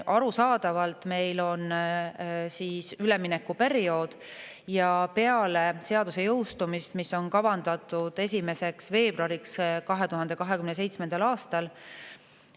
Arusaadavalt on meil üleminekuperiood ja seaduse jõustumine on kavandatud 1. veebruariks 2027. aastal.